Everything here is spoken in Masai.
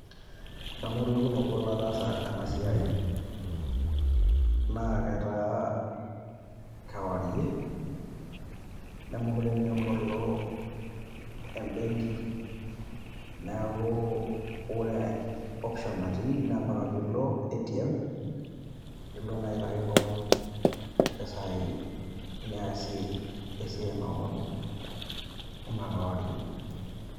Adamu olkekun obo lataasa ena siai naa ketaa kewarie nemekure naa ebolo ebenki niaku ore option natii naa mpaka piilo ATM aitaki kewon mpisai niasie esiai naa pookin ina kewarie.